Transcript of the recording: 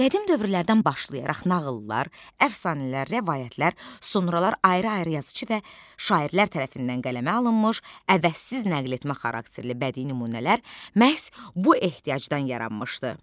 Qədim dövrlərdən başlayaraq nağıllar, əfsanələr, rəvayətlər sonralar ayrı-ayrı yazıçı və şairlər tərəfindən qələmə alınmış, əvəzsiz nəqletmə xarakterli bədii nümunələr məhz bu ehtiyacdan yaranmışdı.